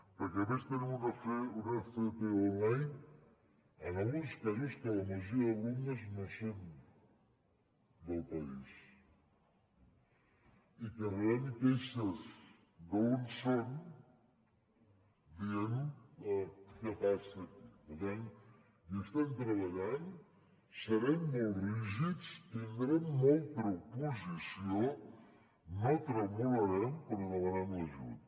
perquè a més tenim una fp online en alguns casos que la majoria d’alumnes no són del país i que rebem queixes d’on són dient què passa aquí per tant hi estem treballant serem molt rígids tindrem molta oposició no tremolarem però demanem l’ajut